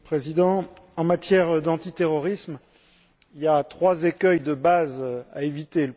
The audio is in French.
Monsieur le Président, en matière d'antiterrorisme, il y a trois écueils de base à éviter.